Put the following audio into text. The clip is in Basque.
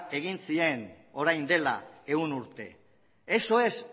egin zuten orain dela ehun urte eso es